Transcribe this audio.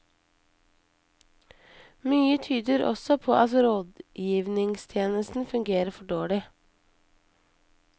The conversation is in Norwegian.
Mye tyder også på at rådgivningstjenesten fungerer for dårlig.